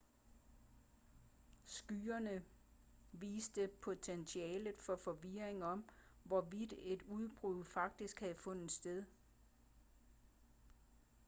skyerne viste potentialet for forvirring om hvorvidt et udbrud faktisk havde fundet sted